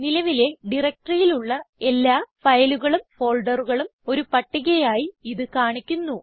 നിലവിലെ ഡയറക്ടറിയിൽ ഉള്ള എല്ലാ ഫയലുകളും ഫോൾഡറുകളും ഒരു പട്ടികയായി ഇത് കാണിക്കുന്നു